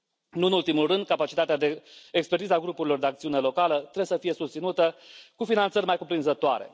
Nu în ultimul rând, capacitatea de expertiză a grupurilor de acțiune locală trebuie să fie susținută cu finanțări mai cuprinzătoare.